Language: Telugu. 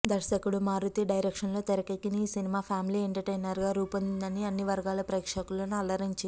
దర్శకుడు మారుతి డైరెక్షన్లో తెరకెక్కిన ఈ సినిమా ఫ్యామిలీ ఎంటర్టైనర్గా రూపొంది అన్ని వర్గాల ప్రేక్షకులను అలరించింది